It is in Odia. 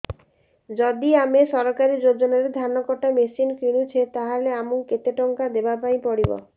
ଯଦି ଆମେ ସରକାରୀ ଯୋଜନାରେ ଧାନ କଟା ମେସିନ୍ କିଣୁଛେ ତାହାଲେ ଆମକୁ କେତେ ଟଙ୍କା ଦବାପାଇଁ ପଡିବ